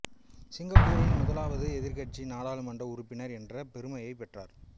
சிங்கப்பூரின் முதலாவது எதிர்க்கட்சி நாடாளுமன்ற உறுப்பினர் என்ற பெருமையைப் பெற்றார்